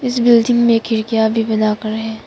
इस बिल्डिंग में खिड़कियां भी बनाकर है।